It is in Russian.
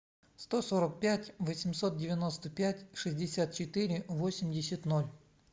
сто сорок пять восемьсот девяносто пять шестьдесят четыре восемьдесят ноль